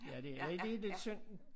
Ja det er lige lidt synd